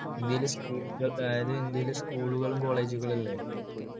school കള്‍ അഹ് അതായത് ഇന്ത്യയിലെ school കളും college കളും അല്ലേ?